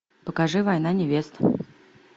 покажи война невест